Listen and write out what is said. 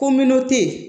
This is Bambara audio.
Ko